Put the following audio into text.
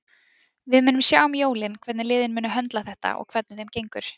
Við munum sjá um jólin hvernig liðin munu höndla þetta og hvernig þeim gengur.